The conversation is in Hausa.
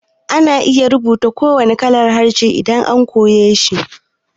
Ana iya rubutu da kowanne irin harshe idan har an koyeshi